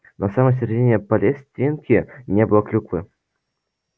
на самой середине палестинки не было клюквы